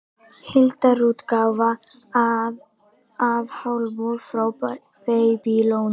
Heildarútgáfa af Talmúð frá Babýloníu.